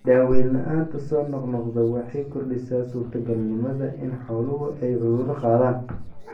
Daaweyn la'aanta soo noqnoqda waxay kordhisaa suurtagalnimada in xooluhu ay cudurro qaadaan.